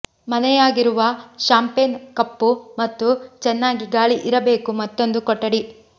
ಮನೆಯಾಗಿರುವ champagne ಕಪ್ಪು ಮತ್ತು ಚೆನ್ನಾಗಿ ಗಾಳಿ ಇರಬೇಕು ಮತ್ತೊಂದು ಕೊಠಡಿ